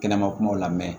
Kɛnɛma kumaw la mɛ